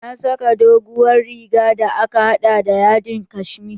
Na saka doguwar riga da aka haɗa da yadin kashmere.